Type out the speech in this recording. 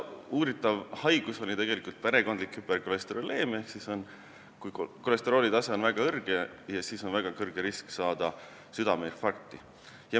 Uuritav haigus oli tegelikult perekondlik hüperkolesteroleemia – kui kolesterooli tase on väga kõrge, siis on väga suur risk saada südameinfarkti.